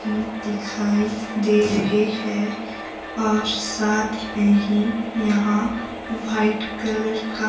दिखाई दे रहे हैं और साथ में ही यहां व्हाइट कलर का--